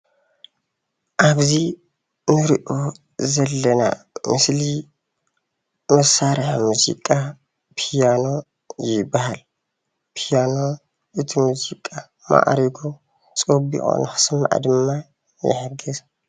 ኣብዚ እንሪኦ ዘለና ምስሊ መሳርሒ ሙዚቃ ፒያኖ ይባሃል፡፡ ፒያኖ እቲ ሙዚቃ ማዕሪጉ ፀቢቁ ንክስማዕ ድማ ይሕግዝ፡፡